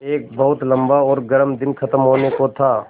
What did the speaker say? एक बहुत लम्बा और गर्म दिन ख़त्म होने को था